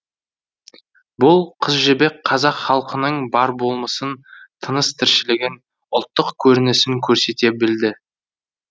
бұл қыз жібек қазақ халқының бар болмысын тыныс тіршілігін ұлттық көрінісін көрсете білді